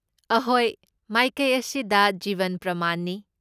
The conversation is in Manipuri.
ꯑꯍꯣꯏ, ꯃꯥꯏꯀꯩ ꯑꯁꯤꯗ ꯖꯤꯕꯟ ꯄ꯭ꯔꯃꯥꯟꯅꯤ꯫